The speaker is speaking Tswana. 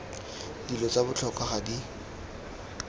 dilo tsa botlhokwa ga di